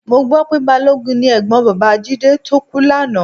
Mo gbọ́ pé balógun ni ẹ̀gbọ́n bàbá Jídé tó kú lánàá